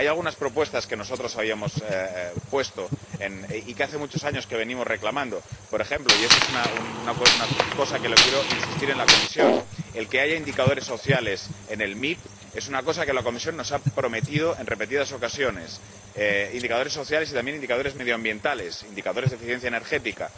Hay algunas propuestas que nosotros habíamos hecho y que hace muchos años que venimos reclamando por ejemplo —y eso es una cosa sobre la que quiero insistirle a la Comisión—, el que haya indicadores sociales en el PDM es una cosa que la Comisión nos ha prometido en repetidas ocasiones, indicadores sociales y también indicadores medioambientales, indicadores de eficiencia energética.